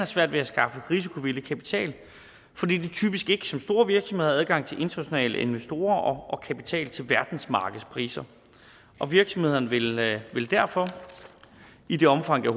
svært ved at skaffe risikovillig kapital fordi de typisk ikke som store virksomheder har adgang til internationale investorer og kapital til verdensmarkedspriser virksomhederne vil vil derfor i det omfang det